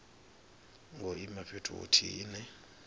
ngo ima fhethu huthihi ine